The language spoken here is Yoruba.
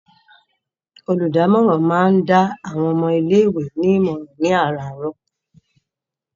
Olùdámọ̀ràn máa ń dá àwọn ọmọ ilé-ìwé nímọ̀ràn ní àràárọ̀.